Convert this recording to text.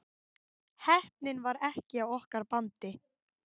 Heppnin var ekki á okkar bandi